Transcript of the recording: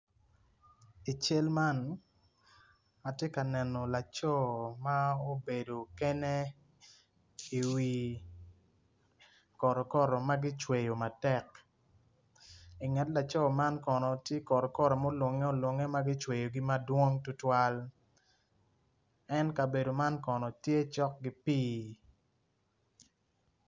i cal man atye ka neno laco ma obedo kene i wi kotokoto ma ki cweyo matek i nget laco man tye kono kotokoto ma kicweyo madong tutwal en kabedo man kono tye cok ki pii.